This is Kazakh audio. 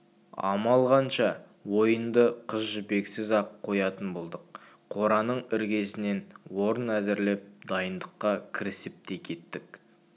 амал қанша ойынды қыз жібексіз-ақ қоятын болдық қораның іргесінен орын әзірлеп дайындыққа кірісіп те кеттік